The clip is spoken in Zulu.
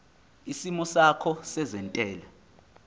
isimo sakho sezentela